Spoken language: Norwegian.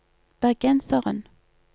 bergenseren